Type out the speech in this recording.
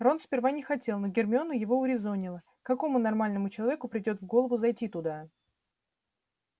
рон сперва не хотел но гермиона его урезонила какому нормальному человеку придёт в голову зайти туда